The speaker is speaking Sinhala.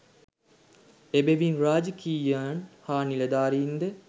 එබැවින් රාජකීයයන් හා නිලධාරීන්ද